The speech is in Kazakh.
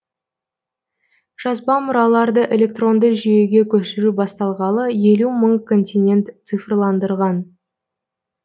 жазба мұраларды электронды жүйеге көшіру басталғалы елу мың контент цифрландырған